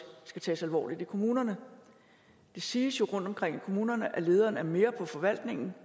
skal tages alvorligt i kommunerne det siges jo rundtomkring i kommunerne steder at lederen er mere på forvaltningen